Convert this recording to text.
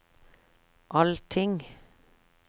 allting